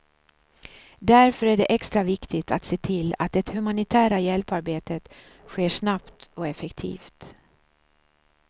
Därför är det extra viktigt att se till att det humanitära hjälparbetet sker snabbt och effektivt.